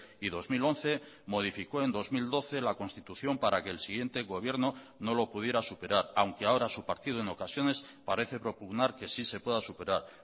y dos mil once modificó en dos mil doce la constitución para que el siguiente gobierno no lo pudiera superar aunque ahora su partido en ocasiones parece propugnar que sí se pueda superar